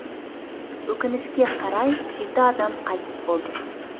өкінішке қарай жеті адам қайтыс болды